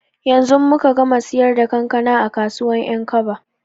Yanzu muka gama siyar da kankana a kasuwar 'yankaba.